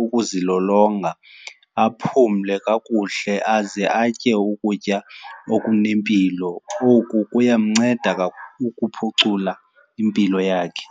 ukuzilolonga, aphumle kakuhle, aze atye ukutya okunempilo. Oku kuya mnceda ukuphucula impilo yakhe.